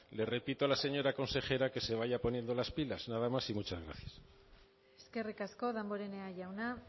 le repito a la señora consejera que se vaya poniendo las pilas nada más y muchas gracias eskerrik asko damborenea jauna